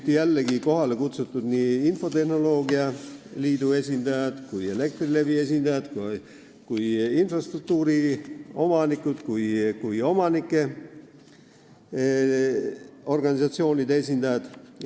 Kohale olid kutsutud infotehnoloogia liidu esindajad, Elektrilevi esindajad, infrastruktuuri omanikud ja ka omanike organisatsioonide esindajad.